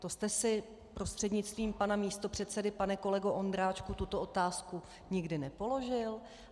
To jste si, prostřednictvím pana místopředsedy pane kolego Ondráčku, tuto otázku nikdy nepoložil?